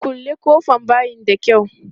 Kulle ƙofan bayin da kyau!